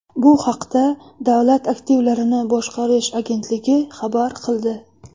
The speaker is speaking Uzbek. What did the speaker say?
Bu haqda Davlat aktivlarini boshqarish agentligi xabar qildi .